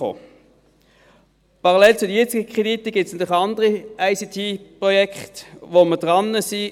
Allein zu den jetzigen Krediten gibt es natürlich andere ICT-Projekte, an denen wir dran sind.